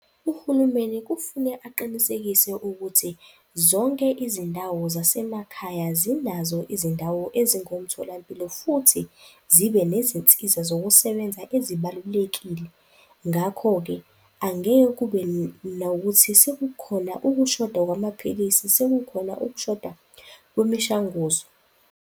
Uhulumeni kufune aqinisekise ukuthi zonke izindawo zasemakhaya zinazo izindawo ezingomtholampilo futhi zibe nezinsiza zokusebenza ezibalulekile. Ngakho-ke angeke kube nokuthi sekukhona ukushoda kwamaphilisi, sekukhona ukushoda kwemishanguzo.